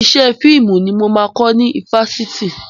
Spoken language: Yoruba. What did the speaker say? Iṣẹ́ fíìmù ni mo máa kọ́ mi fásitì.